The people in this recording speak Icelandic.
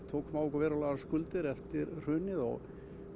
tókum á okkur verulegar skuldir eftir hrunið og